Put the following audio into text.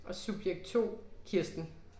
Og subjekt 2, Kirsten